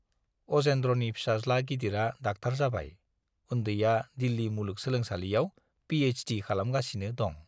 अजेन्द्रनि फिसाज्ला गिदिरा डाक्टार जाबाय, उन्दैया दिल्ली मुलुग सोलोंसालियाव पि एइचडि खालामगासिनो दं।